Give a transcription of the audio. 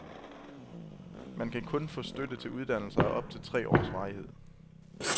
Man kan kun få støtte til uddannelser af op til tre års varighed.